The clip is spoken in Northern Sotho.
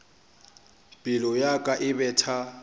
pelo ya ka e betha